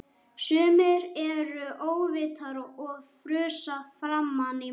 Sumir eru óvitar og frussa framan í mann!